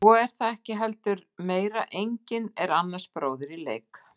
En svo er það heldur ekki meira, enginn er annars bróðir í leik.